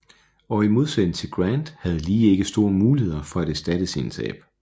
Og i modsætning til Grant havde Lee ikke store muligheder for at erstatte sine tab